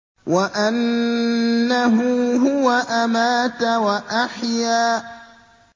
وَأَنَّهُ هُوَ أَمَاتَ وَأَحْيَا